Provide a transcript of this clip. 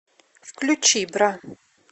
включи бра